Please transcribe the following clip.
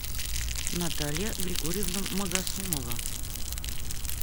наталья григорьевна магосумова